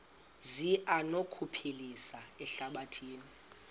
zi anokuphilisa ihlabathi